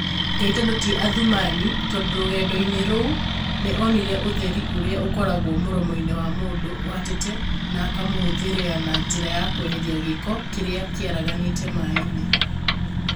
Ngai tondu ti Athuman, tondũ rũgendo-inĩ rũu nĩ onire ũtheri ũrĩa ũkoragwo mũromo-inĩ wa mũndũ ũhatĩte na akamũhũthĩriana njira ya kweheria gĩko kĩrĩa kĩaraganĩte maĩ-inĩ